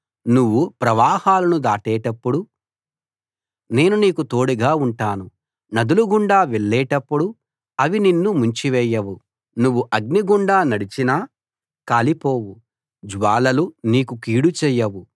నువ్వు ప్రవాహాలను దాటేటప్పుడు నేను నీకు తోడుగా ఉంటాను నదులగుండా వెళ్ళేటప్పుడు అవి నిన్ను ముంచివేయవు నువ్వు అగ్నిగుండా నడచినా కాలిపోవు జ్వాలలు నీకు కీడు చేయవు